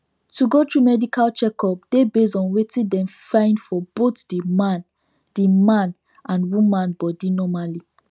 to go through medical checkup dey base on wetin them find for both the man the man and woman bodynormally